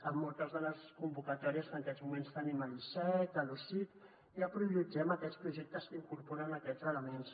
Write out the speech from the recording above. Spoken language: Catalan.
en moltes de les convocatòries que en aquests moments tenim a l’icec a l’osic ja prioritzem aquests projectes que incorporen aquests elements